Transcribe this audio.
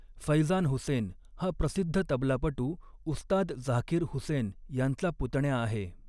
फैझान हुसेन हा प्रसिद्ध तबलापटू उस्ताद झाकिर हुसेन यांचा पुतण्या आहे.